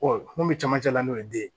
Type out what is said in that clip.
mun bɛ camancɛ la n'o ye den ye